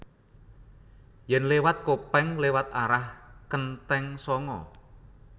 Yen lewat Kopeng lewat arah Kenteng Sanga